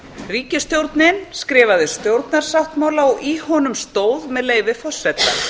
ríkisstjórnin skrifaði stjórnarsáttmála og í honum stóð með leyfi forseta